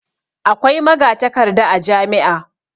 Akwai magatakarda a jami'a.